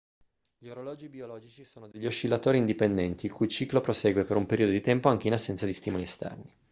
gli orologi biologici sono degli oscillatori indipendenti il cui ciclo libero prosegue per un periodo di tempo anche in assenza di stimoli esterni